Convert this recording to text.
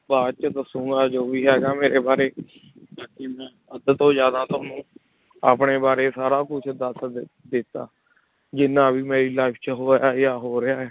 ਬਾਅਦ 'ਚ ਦੱਸਾਂਗਾ ਜੋ ਵੀ ਹੈਗਾ ਮੇਰੇ ਬਾਰੇ ਬਾਕੀ ਮੈਂ ਅੱਧ ਤੋਂ ਜ਼ਿਆਦਾ ਤੁਹਾਨੂੰ ਆਪਣੇ ਬਾਰੇ ਸਾਰਾ ਕੁਛ ਦੱਸ ਦਿੱ~ ਦਿੱਤਾ, ਜਿੰਨਾ ਵੀ ਮੇਰੀ life 'ਚ ਹੋਇਆ ਜਾਂ ਹੋ ਰਿਹਾ ਹੈ।